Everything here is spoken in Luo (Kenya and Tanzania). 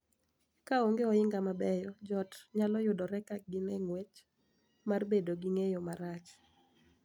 Ka onge ohinga mabeyo, jo ot nyalo yudore ka gin e ng�wech mar bedo gi ng�eyo marach,